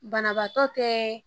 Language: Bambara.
Banabaatɔ tɛ